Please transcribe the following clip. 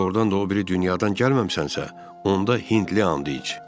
Əgər doğrudan da o biri dünyadan gəlməmisənsə, onda Hindli and iç.